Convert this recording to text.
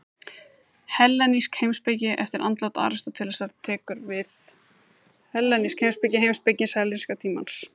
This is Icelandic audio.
Hellenísk heimspeki Eftir andlát Aristótelesar tekur við hellenísk heimspeki, heimspeki helleníska tímans.